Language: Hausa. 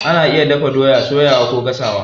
Ana iya dafa doya, soyawa kokuma gasawa.